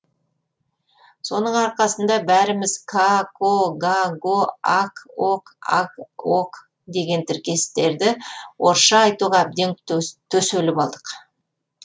соның арқасында бәріміз ка ко га го ак ок аг ог деген тіркестерді орысша айтуға әбден төселіп алдық